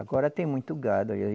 Agora tem muito gado.